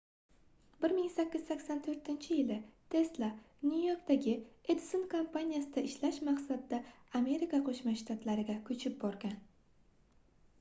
1884-yii tesla nyu-yorkdagi edison kompaniyasida ishlash maqsadida amerika qoʻshma shtatlariga koʻchib borgan